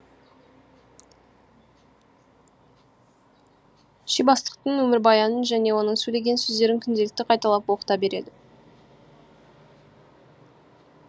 ши бастықтың өмірбаяның және оның сөйлеген сөздерін күнделікті қайталап оқыта береді